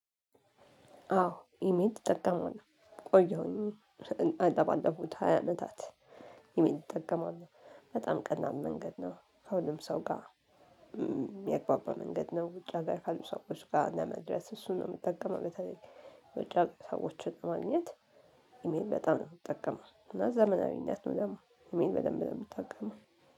አዎ ኢሜል እጠቀማለሁ ቆየሁኝ ለባለፉት ሃያ አመታት። ኢሜል እጠቀማለሁ በጣም ቀላል መንገድ ነው ከሁሉም ሰው ጋር የሚአግባባ መንገድ ነው። ውጭ አገር ካሉ ሰዎች ጋር ለመድረስ እሱን ነው የምጠቀመው። በተለይ የውጭ አገር ሰዎችን ለማግኘት። ኢሜል በጣም ነው የምጠቀመው እና ዘመናዊነት ነው ደግሞ ኢሜል በደንብ ነው የምጠቀመው።